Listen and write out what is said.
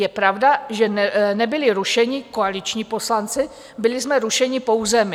Je pravda, že nebyli rušeni koaliční poslanci, byli jsme rušeni pouze my.